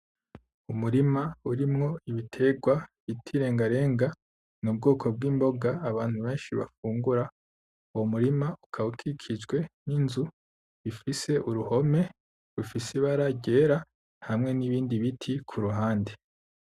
Umurima urimwo ibitegwa bita irengarenga n'ubwoko bwimboga abantu benshi bafungura uwo murima ukaba ukikijwe ninzu ifise uruhome rufise ibara ryera hamwe nibindi biti kuruhande.